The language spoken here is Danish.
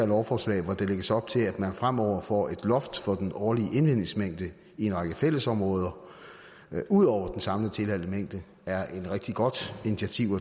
lovforslaget hvor der lægges op til at man fremover får et loft for den årlige indvindingsmængde i en række fællesområder ud over den samlede tilladte mængde er et rigtig godt initiativ